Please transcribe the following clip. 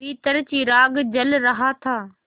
भीतर चिराग जल रहा था